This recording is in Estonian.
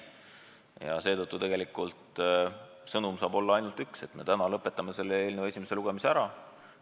Ja seetõttu lahendus saab olla ainult üks: et me täna lõpetame selle eelnõu esimese lugemise ära.